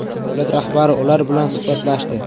Davlat rahbari ular bilan suhbatlashdi.